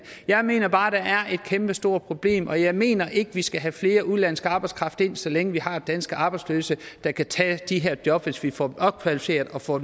jeg mener bare at der er et kæmpestort problem og jeg mener ikke at vi skal have mere udenlandsk arbejdskraft ind så længe vi har danske arbejdsløse der kan tage de her jobs hvis vi får dem opkvalificeret og får